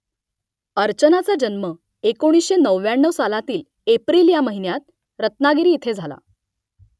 अर्चनाचा जन्म एकोणीसशे नव्व्याण्णव सालातील एप्रिल ह्या महिन्यात रत्‍नागिरी इथे झाला